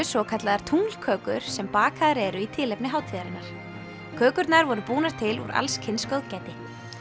svokallaðar sem bakaðar eru í tilefni hátíðarinnar kökurnar voru búnar til úr allskyns góðgæti